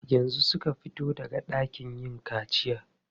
Yanzu suka fito daga ɗakin yin kaciya.